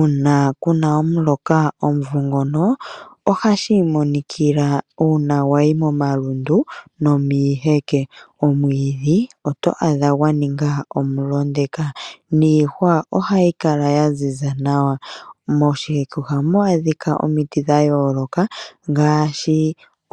Una kuna omuloka omumvo ngono ohashii monikila una wayi momalundu nomiiheke. Omwiidhi oto adha gwa ninga omulondeka, niihwa ohayi kala ya ziza nawa. Moshiheke ohamu adhika omiti dha yooloka ngaashi